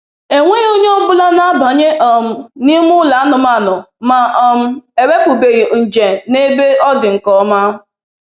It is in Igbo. Enweghị onye ọbịa ọ bụla na-abanye um n'ime ụlọ anụmanụ ma um ewepụbeghị nje n'ebe ọ dị nke ọma.